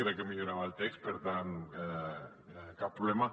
crec que millorava el text per tant cap problema